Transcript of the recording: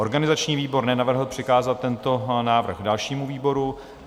Organizační výbor nenavrhl přikázat tento návrh dalšímu výboru.